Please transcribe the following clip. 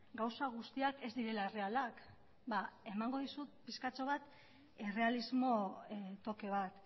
gauza guztiak ez direla errealak ba emango dizut pixkatxo bat errealismo toke bat